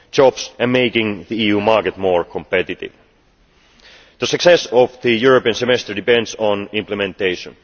Jobs are making the EU market more competitive. The success of the European Semester depends on implementation.